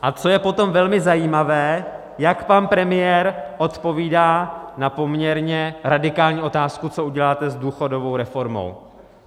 A co je potom velmi zajímavé, jak pan premiér odpovídá na poměrně radikální otázku: co uděláte s důchodovou reformou?